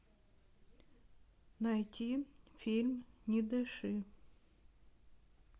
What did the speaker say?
найти фильм не дыши